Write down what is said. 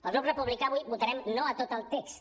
el grup republicà avui votarem no a tot el text